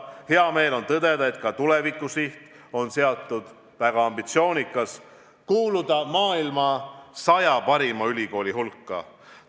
Hea meel on tõdeda, et ka tulevikusiht on seatud väga ambitsioonikas – kuuluda maailma saja parima ülikooli hulka.